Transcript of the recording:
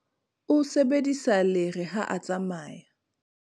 o sebedisa lere ha a tsamaya.